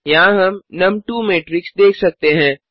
यहाँ हम नुम2 मैट्रिक्स देख सकते हैं